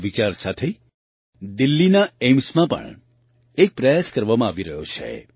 આ વિચાર સાથે દિલ્લીના એઇમ્સમાં પણ એક પ્રયાસ કરવામાં આવી રહ્યો છે